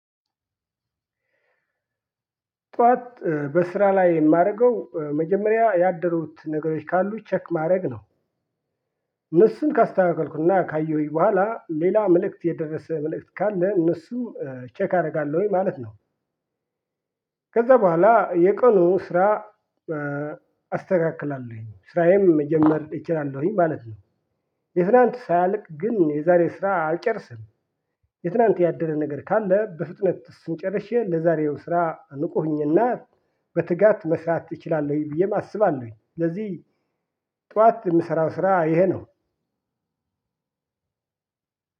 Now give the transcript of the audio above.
ጠዋት በስራ ላይ የማደርገው መጀመሪያ ያደሩት ነገሮች ካሉ ቼክ ማድረግ ነው። እነሱን ካስተካከልኩ እና ካየሁኝ በኋላ ሌላ መልእክት የደረሰ መልእክት ካለ እነሱን ቼክ አደርጋለሁኝ ማለት ነው። ከዛ በኋላ የቀኑ ስራ አስተካክላለሁኝ። ስራዬም መጀመር እችላለሁኝ ማለት ነው። የትላንት ሳያልቅ ግን የዛሬ ስራ አልጨርስም። የትላንት ያደረ ነገር ካለ በፍጥነት እሱን ጨርሼ ለዛሬው ስራ ንቁ ሆኜ እና በትጋት መስራት እችላለሁኝ ብዬም አስባለሁኝ። ስለዚህ ጠዋት የምሰራው ስራ ይሄ ነው።